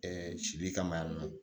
sili kama yan nɔ